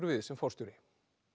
við sem forstjóri